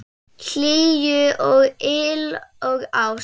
Hlýju og yl og ást.